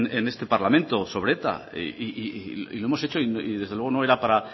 en este parlamento sobre eta y hemos hecho y desde luego no era para